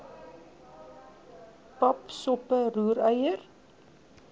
pap soppe roereier